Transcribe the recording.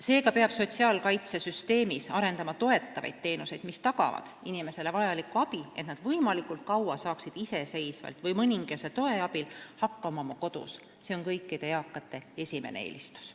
Seega peab sotsiaalkaitsesüsteemis arendama toetavaid teenuseid, mis tagavad inimestele vajaliku abi, et nad saaksid võimalikult kaua iseseisvalt või mõningase toe abil hakkama oma kodus, sest see on kõikide eakate esimene eelistus.